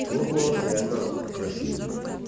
твой голос реально красивый